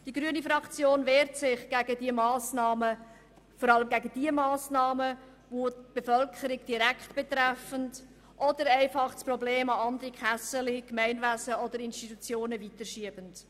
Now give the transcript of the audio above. Die grüne Fraktion wehrt sich gegen diese Massnahmen, vor allem gegen die Massnahmen, welche die Bevölkerung direkt betreffen oder einfach das Problem an andere «Kässeli», Gemeinwesen oder Institutionen weiterschieben.